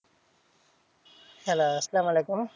Hello সালাম আলাইকুম।